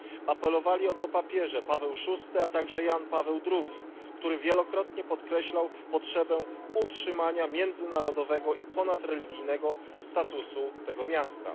Apelowali o to papieże Paweł VI, a także Jan Paweł II, który wielokrotnie podkreślał potrzebę utrzymania międzynarodowego i ponadreligijnego statusu tego miasta.